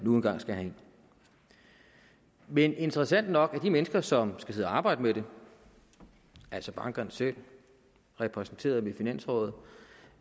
nu engang skal have ind men interessant nok er de mennesker som skal sidde og arbejde med det altså bankerne selv repræsenteret ved finansrådet